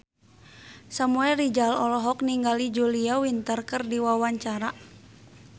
Samuel Rizal olohok ningali Julia Winter keur diwawancara